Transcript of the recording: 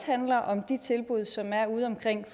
handler om de tilbud som er udeomkring